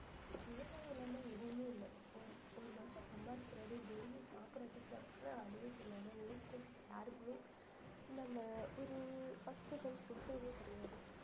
விவசாயம் இல்லாம எதுவுமே இல்ல ஒரு ஒரு மனுஷன் சம்பாதிக்கிறது daily யும் சாப்பிடறதுக்குதான் ஆனா அதுவே தெரியாம விவசாயத்துக்கு யாருக்குமே நம்ம ஒரு first preference குடுக்கறதே கிடையாது